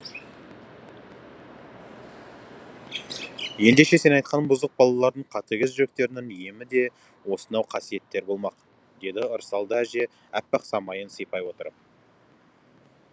ендеше сен айтқан бұзық балалардың қатыгез жүректерінің емі де осынау қасиеттер болмақ деді ырысалды әже аппақ самайын сипай отырып